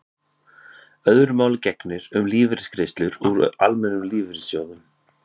öðru máli gegnir um lífeyrisgreiðslur úr almennum lífeyrissjóðum